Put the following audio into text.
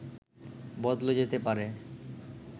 বদলে যেতে পারে